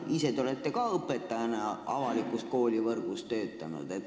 Ise te olete õpetajana avalikus koolivõrgus töötanud.